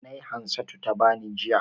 Nai Hansatu ta bani, jiya.